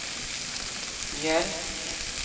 mjölk